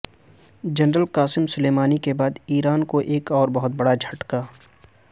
general Qasem Soleimani کے بعد Iran کو ایک اور بہت بڑا دھچکا